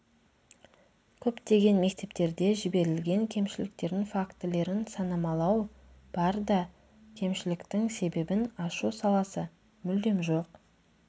көптеген мектептерде жіберілген кемшіліктердің фактілерін санамалау бар да кемшіліктің себебін ашу саласы мүлдем жоқ